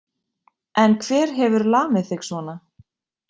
En hver hefur lamið þig svona?